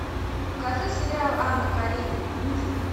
покажи сериал анна каренина мюзикл